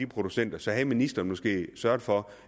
producenter så havde ministeren måske sørget for